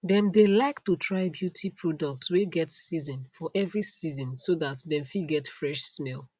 them dae like to try beauty products wae get season for every season so that dem fit get fresh smell